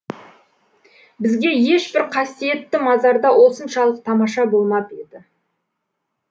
бізге ешбір қасиетті мазарда осыншалық тамаша болмап еді